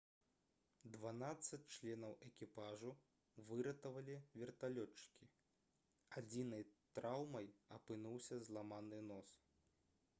дванаццаць членаў экіпажу выратавалі верталётчыкі адзінай траўмай апынуўся зламаны нос